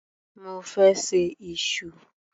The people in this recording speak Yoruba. Mo fẹ́ ṣe iṣu.